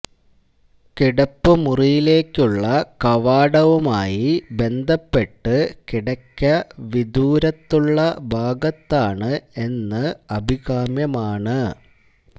കിടപ്പുമുറിയിലേക്കുള്ള കവാടവുമായി ബന്ധപ്പെട്ട് കിടക്ക വിദൂരത്തുള്ള ഭാഗത്താണ് എന്ന് അഭികാമ്യമാണ്